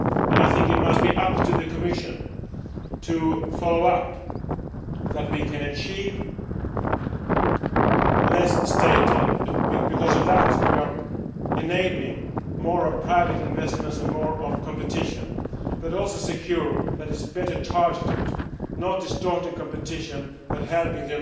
I think it must be up to the Commission to follow up on our achieving less state aid because then we are enabling more private investments and more competition but also to ensure that it is better targeted and not distorting competition but helping